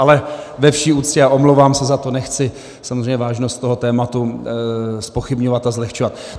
Ale ve vší úctě a omlouvám se za to, nechci samozřejmě vážnost toho tématu zpochybňovat a zlehčovat.